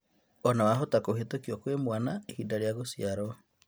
Ona wahota kũhĩtũkio kwĩ mwana ihinda rĩa gũciarwo